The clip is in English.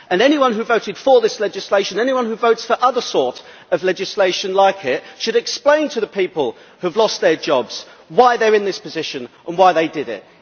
Anyone who voted for this legislation and anyone who votes for other legislation like it should explain to the people who have lost their jobs why they are in this position and why they did it.